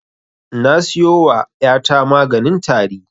Na siyo wa ƴa ta maganin tari